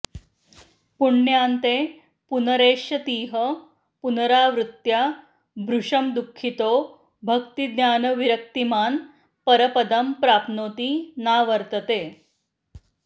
पुण्यान्ते पुनरेष्यतीह पुनरावृत्या भृशं दुःखितो भक्तिज्ञानविरक्तिमान् परपदं प्राप्नोति नावर्तते